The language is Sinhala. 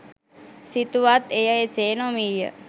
සිතුවත් එය එසේ නොවීය